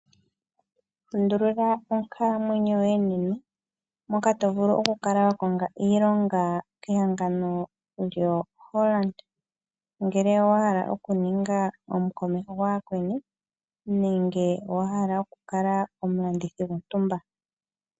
Lundulula onkalamwenyo yoye nena moka to vulu okukala wa konga iilonga kehangano lyoHollard ngele owa hala okuninga omukomeho gwayakweni nenge owa hala okukala omulandithi gontumba.